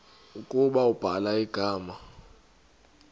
ukuba ubhala igama